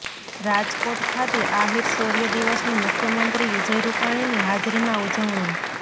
રાજકોટ ખાતે આહીર શૌર્ય દિવસની મુખ્યમંત્રી વિજય રૂપાણીની હાજરીમાં ઉજવણી